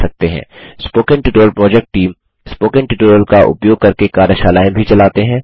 spoken tutorial project team spoken tutorial का उपयोग करके कार्यशालाएँ भी चलाते हैं